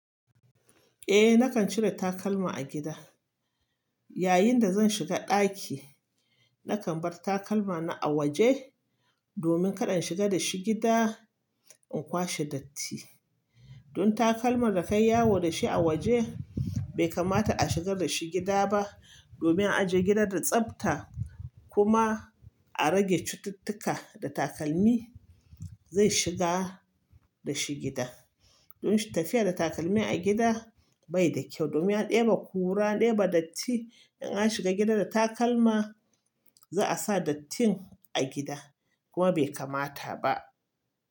Eh, nakan cire takalma a gida. Yayin da zan shiga ɗaki, nakan bar takalma na a waje domin kaɗa in shiga da shi gida in kwashe datti. Don takalman da kai yawo da shi a waje bai kamata a shigar da shi gida ba domin a je gidan da tsafta kuma a rage cututtuka da takalmi zai shiga da shi gida. Don tafiya da takalmi a gida bai da kyau domin ya ɗeba kura, ɗeba datti. In an shiga gida da takalma za a sa dattin a gida kuma bai kamata ba.